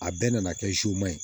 A bɛɛ nana kɛ ma ye